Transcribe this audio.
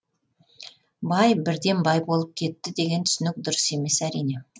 бай бірден бай болып кетті деген түсінік дұрыс емес әрине